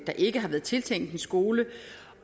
ikke har været tiltænkt en skole